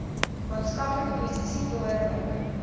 maatskaplike posisie behoorlik